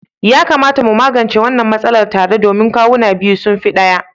Ya kamata mu magance wannan matsalar tare domin kawuna biyu sun fi ɗaya.